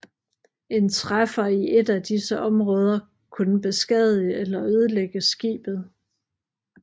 En træffer i et af disse områder kunne beskadige eller ødelægge skibet